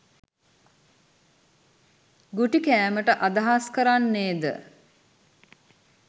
ගුටි කෑමට අදහස් කරන්නේද?